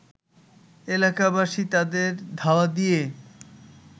এলাকাবাসী তাদের ধাওয়া দিয়ে